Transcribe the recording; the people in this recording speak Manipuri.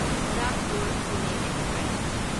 ꯒꯣꯔꯥꯈꯄꯨꯔ ꯄꯨꯅꯦ ꯑꯦꯛꯁꯄ꯭ꯔꯦꯁ